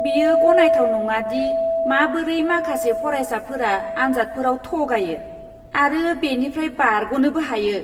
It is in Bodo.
बेयो गनायथाव नङा दि माबोरै माखासे फरायसाफोरा आनजादफोराव थगायो आरो बेनिफ्राय बारग'नोबो हायो!